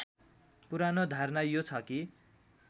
पुरानो धारणा यो छ कि